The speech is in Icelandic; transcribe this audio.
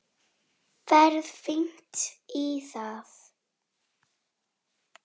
Ég á ekki heima hér.